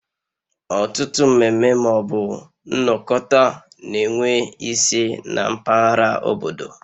Ọtụtụ mmeme ma ọ bụ nnokota na enwe ise na mpaghara obodo